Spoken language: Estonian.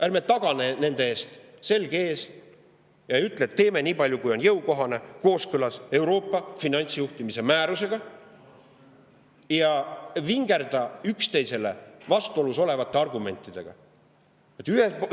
Ärme taganeme nende eest, selg ees, ärme ütleme, et teeme nii palju, kui on jõukohane, kooskõlas Euroopa finantsjuhtimise määrusega, ärme vingerdame üksteisega vastuolus olevaid argumente kasutades!